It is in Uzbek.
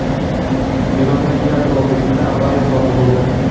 Erondagi yadro ob’ektida avariya sodir bo‘ldi.